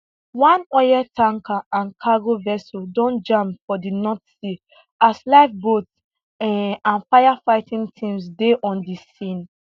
one oil tanker and cargo vessel don jam for di north sea as lifeboats um and firefighting teams dey on di scene